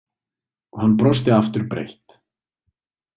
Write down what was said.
Og hann brosti aftur breitt.